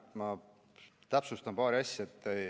Jah, ma täpsustan paari asja.